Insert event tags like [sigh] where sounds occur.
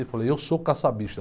Eu falei, eu sou. [unintelligible]